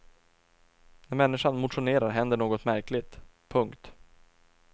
När människan motionerar händer något märkligt. punkt